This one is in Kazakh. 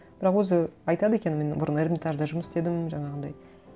бірақ өзі айтады екен мен бұрын эрмитажда жұмыс істедім жаңағындай